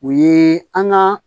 O ye an ka